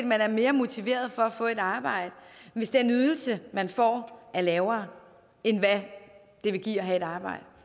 man er mere motiveret for at få et arbejde hvis den ydelse man får er lavere end hvad det vil give at have et arbejde